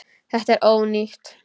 Þetta er ónýtt.